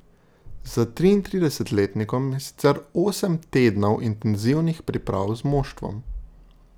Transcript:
Za triintridesetletnikom je sicer osem tednov intenzivnih priprav z moštvom.